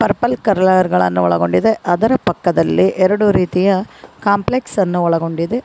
ಒಳಗೊಂಡಿದೆ ಅದರ ಪಕ್ಕದಲ್ಲಿ ಎರಡು ರೀತಿಯ ಕಾಂಪ್ಲೆಕ್ಸ್ ಅನ್ನು ಒಳಗೊಂಡಿದೆ.